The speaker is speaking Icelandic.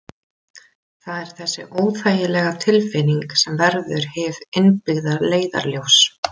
Það er þessi óþægilega tilfinning sem verður hið innbyggða leiðarljós.